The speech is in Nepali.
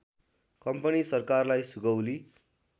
कम्पनी सरकारलाई सुगौली